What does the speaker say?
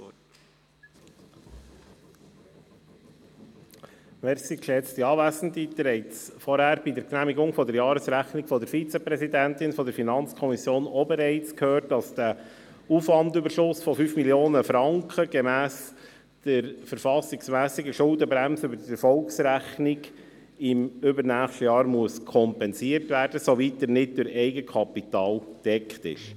Sie haben vorhin bei der Genehmigung der Jahresrechnung von der Vizepräsidentin der FiKo bereits gehört, dass der Aufwandüberschuss von 5 Mio. Franken gemäss der verfassungsmässigen Schuldenbremse über die Erfolgsrechnung im übernächsten Jahr kompensiert werden muss, soweit er nicht durch Eigenkapital gedeckt ist.